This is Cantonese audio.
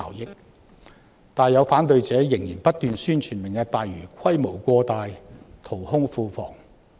然而，有反對者仍然不斷宣傳"明日大嶼願景"規模過大、淘空庫房。